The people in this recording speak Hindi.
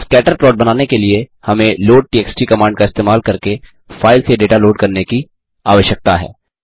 स्कैटर प्लॉट बनाने के लिए हमें लोडटीएक्सटी कमांड का इस्तेमाल करके फाइल से डेटा लोड करने की आवश्यकता है